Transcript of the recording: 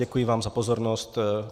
Děkuji vám za pozornost.